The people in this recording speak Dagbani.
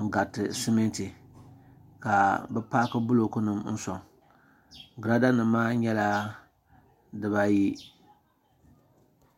n-gariti simiti ka bɛ paaki bulooku nima n-sɔŋ giraada nima maa nyɛla dibaa ayi.